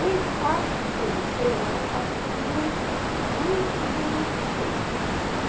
O impacto quando chega, é um impacto muito difícil, muito ruim, muito triste.